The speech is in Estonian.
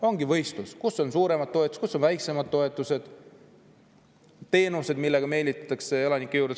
Ongi võistlus, et kus on suuremad toetused ja kus on väiksemad toetused ja kus on teenused, millega meelitatakse elanikke juurde.